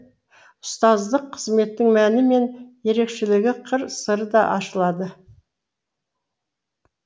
ұстаздық қызметтің мәні мен ерекшелігі қыр сыры да ашылады